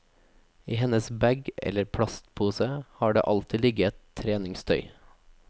I hennes bag, eller plastpose, har det alltid ligget treningstøy.